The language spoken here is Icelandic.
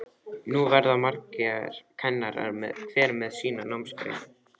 Nú verða margir kennarar, hver með sína námsgrein.